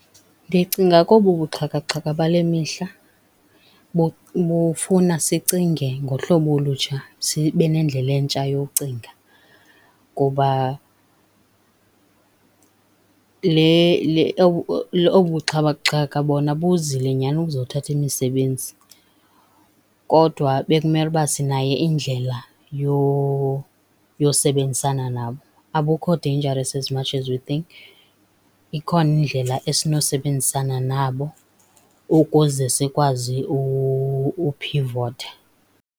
Ndicinga kobu buxhakaxhaka bale mihla bufuna sicinge ngohlobo olutsha, sibe nendlela entsha yocinga kuba obu buxhakaxhaka bona buzile nyani ukuzothatha imisebenzi, kodwa bekumele uba sinayo indlela yosebenzisana nabo. Abukho dangerous as much as we think, ikhona indlela esinosebenzisana nabo, ukuze sikwazi uphivotha.